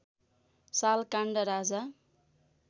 साल काण्ड राजा